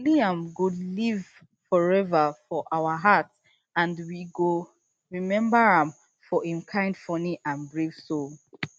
liam go live forever for our heart and and we go remember am for im kind funny and brave soul